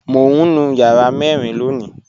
Mọ̀ n nú yàrà mẹ́rìn lóńì